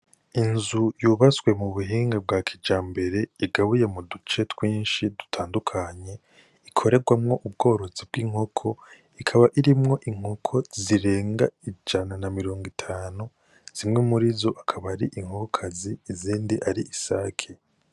Inzu yubaswe mu buhinga bwa kijambere igabuye mu duce twinshi dutandukanye, ikorerwamwo ubworozi bw'inkoko ikaba irimwo inkoko zirenga ijana na mirongo itanu, zimwe murizo akaba ari inkokokazi izindi ari isaki.